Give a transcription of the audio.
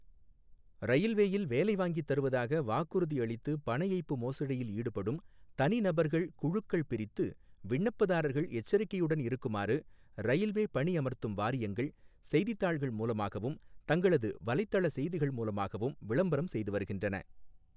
ரயில்வேயில் வேலை வாங்கித் தருவதாக வாக்குறுதி அளித்து பணஏய்ப்பு மோசடியில் ஈடுபடும் தனிநபர்கள், குழுக்கள் பிரித்து விண்ணப்பதாரர்கள் எச்சரிக்கையுடன் இருக்குமாறு ரயில்வே பணி அமர்த்தும் வாரியங்கள், செய்தித்தாள்கள் மூலமாகவும் தங்களது வலைத்தள செய்திகள் மூலமாகவும் விளம்பரம் செய்து வருகின்றன.